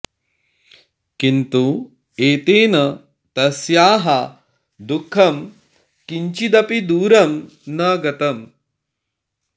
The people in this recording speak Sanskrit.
किन्तु एतेन तस्याः दुःखं किञ्चिदपि दूरं न गतम्